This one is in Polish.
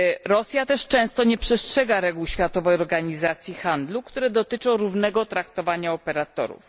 Rosja też często nie przestrzega reguł Światowej Organizacji Handlu, które dotyczą równego traktowania operatorów.